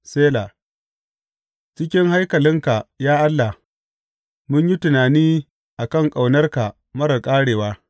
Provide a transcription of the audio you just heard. Sela Cikin haikalinka, ya Allah, mun yi tunani a kan ƙaunarka marar ƙarewa.